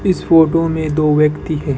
इस फोटो में दो व्यक्ति है।